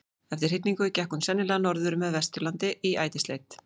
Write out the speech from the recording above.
eftir hrygningu gekk hún sennilega norður með vesturlandi í ætisleit